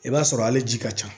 I b'a sɔrɔ hali ji ka ca